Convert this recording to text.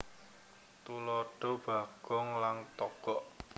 Tuladha Bagong lan Togog